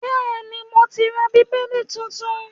Bẹ́ẹ̀ni, mo ti ra Bíbélì tuntun